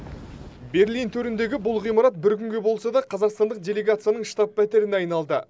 берлин төріндегі бұл ғимарат бір күнге болса да қазақстандық делегацияның штаб пәтеріне айналды